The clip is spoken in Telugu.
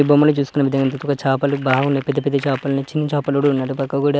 ఈ బొమ్మలు చూసుకున్నట్లయితే ఇంకొక చాపలు బాగున్నాయి. పెద్ద పెద్ద చాపలు చీన్ చాపలు కూడా ఉన్నాయి అటుపక్క కూడ--